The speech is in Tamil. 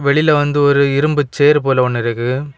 வெளில வந்து ஒரு இரும்பு ஷேர் போல ஒன்னு இருக்கு.